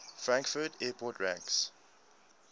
frankfurt airport ranks